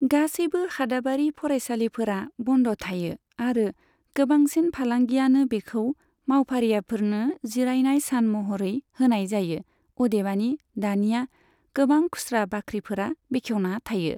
गासैबो हादाबारि फरायसालिफोरा बन्द थायो आरो गोबांसिन फालांगियानो बेखौ मावफारियाफोरनो जिरयानाय सान महरै होनाय जायो, अदेबानि, दानिया गोबां खुस्रा बाख्रिफोरा बेखेवना थायो।